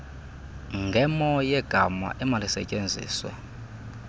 ngemo yegama emalisetyenziswe